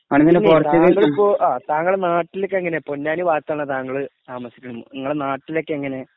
പിന്നെ താങ്കളിപ്പോ നാട്ടിലൊക്കെ എങ്ങനെയാ പൊന്നാനി ഭാഗത്തുള്ള താങ്കള് താമസിക്കാൻ നിങളുടെ നാട്ടിലൊക്കെ എങ്ങനെ.